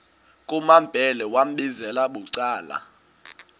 kumambhele wambizela bucala